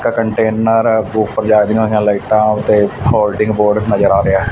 ਇੱਕ ਕੰਟੇਨਰ ਦੇ ਉੱਪਰ ਜਗਦੀਆਂ ਹੋਈਆਂ ਲਾਈਟਾਂ ਤੇ ਹੋਲਡਿੰਗ ਬੋਰਡ ਨਜ਼ਰ ਆ ਰਿਹਾ ਹੈ।